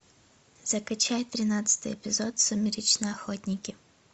закачай тринадцатый эпизод сумеречные охотники